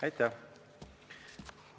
Aitäh!